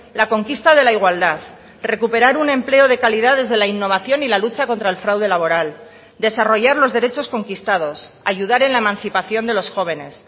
la conquista de la igualdad recuperar un empleo de calidad desde la innovación y la lucha contra el fraude laboral desarrollar los derechos conquistados ayudar en la emancipación de los jóvenes